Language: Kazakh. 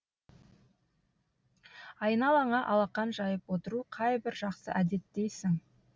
айналаңа алақан жайып отыру қайбір жақсы әдет дейсің